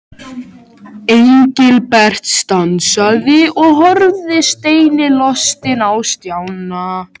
Engilbert stansaði og horfði steinilostinn á Stjána.